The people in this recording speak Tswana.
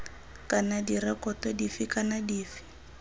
kana direkoto dife kana dife